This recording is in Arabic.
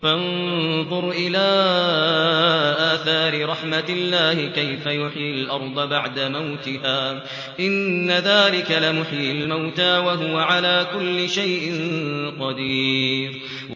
فَانظُرْ إِلَىٰ آثَارِ رَحْمَتِ اللَّهِ كَيْفَ يُحْيِي الْأَرْضَ بَعْدَ مَوْتِهَا ۚ إِنَّ ذَٰلِكَ لَمُحْيِي الْمَوْتَىٰ ۖ وَهُوَ عَلَىٰ كُلِّ شَيْءٍ قَدِيرٌ